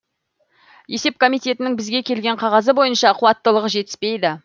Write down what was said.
есеп комитетінің бізге келген қағазы бойынша қуаттылығы жетіспейді